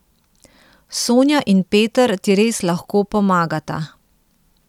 Sonja in Peter ti res lahko pomagata.